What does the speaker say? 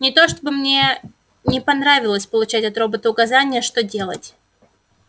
не то чтобы мне не понравилось получать от робота указания что делать